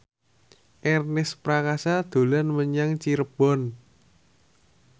Ernest Prakasa dolan menyang Cirebon